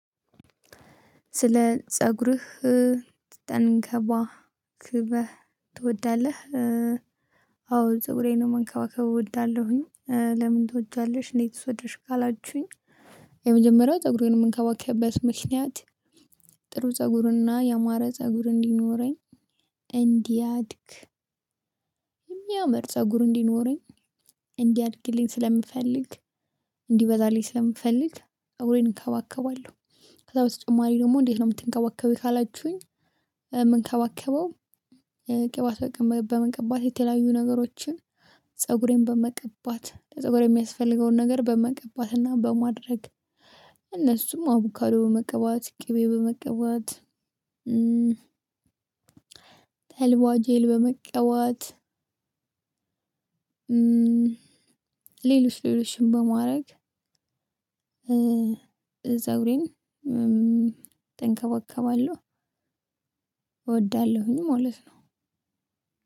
ስለ ፀጉርህ ተንከባክበህ ትወዳለህ? አዎ ፀጉሬን ነው መንከባከብ እወዳለሁኝ። ለምን ትወጃለሽ? እንዴትስ ወድድሽ ካላችሁኝ። የመጀመሪያው ፀጉሬን የምንከባከበት ምክንያት። ጥሩ ፀጉርና ያማረ ፀጉር እንዲኖረኝ እንዲያድግ። የሚያምር ፀጉር እንዲኖረኝ እንዲያድግልኝ ስለምፈልግ እንዲበዛልኝ ስለምፈልግፀጉሬን እከባከባለሁ። ከዛ በተጨማሪ ደግሞ እንዴት ነው የምትንከባከቢው? ካላችሁኝ የምንከባከበው ቅባት በመቀባት የተለያዩ ነገሮችን። ፀጉሬን በመቀባት ለፀጉሬ የሚያስፈልገውን ነገር በመቀባትና በማድረግ። እነሱም አቡካዶ በመቀባት ቅቤ በመቀባት። ተልቧ ጄል በመቀባት። ሌሎች ሌሎችን በማድረግ። ፀጉሬን ተንከባከባለሁ እወዳለሁኝ ማለት ነው።